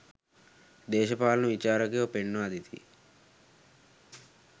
දේශපාලන විචාරකයෝ පෙන්වා දෙති